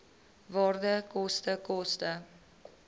waarde koste koste